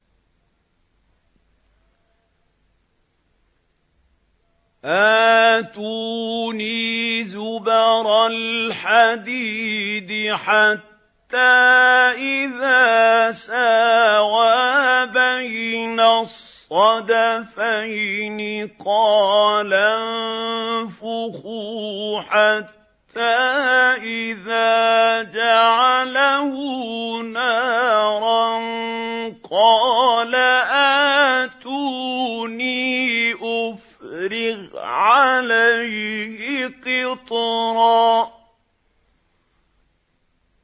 آتُونِي زُبَرَ الْحَدِيدِ ۖ حَتَّىٰ إِذَا سَاوَىٰ بَيْنَ الصَّدَفَيْنِ قَالَ انفُخُوا ۖ حَتَّىٰ إِذَا جَعَلَهُ نَارًا قَالَ آتُونِي أُفْرِغْ عَلَيْهِ قِطْرًا